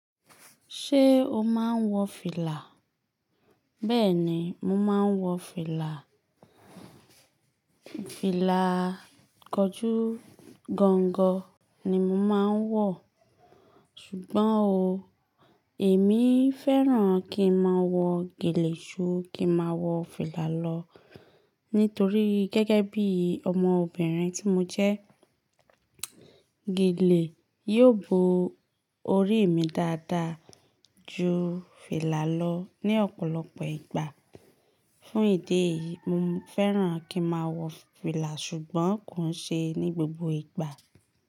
Ṣé o máa ń wọ fìlà? Bẹ́ẹ̀ni, mo máa ń wọ fìlà. Fìlà kọjú gangan ni mo máa ń wọ̀, ṣùgbọ́n ò, èmi fẹ́ràn kí n máa wọ gèlè ṣú kí n máa wọ fìlà lọ nítorí gẹ́gẹ́ bí ọmọbìnrin tí mo jẹ́, gèlè yóò bo orí mi dáadáa ju fìlà lọ ní ọ̀pọ̀lọpọ̀ ìgbà. Fún ìdí èyí, mo fẹ́ràn kí n máa wọ fìlà ṣùgbọ́n kò ń ṣe é ní gbogbo ìgbà.